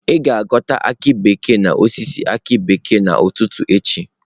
Ị ga-aghọta aki bekee n'osisi aki bekee n'ụtụtụ echi